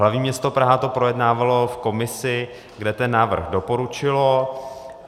Hlavní město Praha to projednávalo v komisi, kde ten návrh doporučilo.